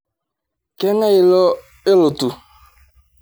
Kangae lido olotu